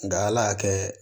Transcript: Nka ala y'a kɛ